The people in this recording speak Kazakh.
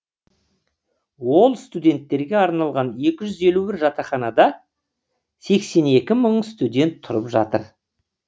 ол студенттерге арналған екі жүз елу бір жатақханада сексен екі мың студент тұрып жатыр